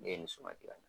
Ne ye nin suma kɛ ka